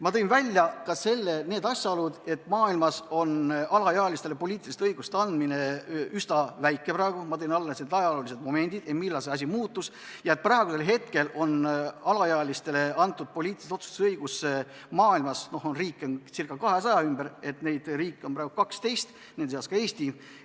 Ma tõin välja ka need asjaolud, et maailmas on alaealistele poliitilisi õigusi antud praegu üsna vähe, ma tõin esile momendi, millal see asi muutus, ja et praegu on alaealistele antud poliitilise otsustuse õigus – maailmas on riike ca 200 – 12 riigis, nende seas on ka Eesti.